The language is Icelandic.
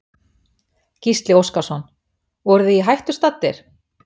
Gísli Óskarsson: Voruð þið í hættu staddir?